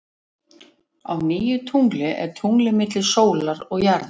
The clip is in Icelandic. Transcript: Á nýju tungli er tunglið milli sólar og jarðar.